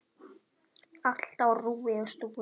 Allt á rúi og stúi.